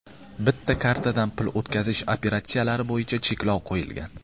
Bitta kartadan pul o‘tkazish operatsiyalari bo‘yicha cheklov qo‘yilgan.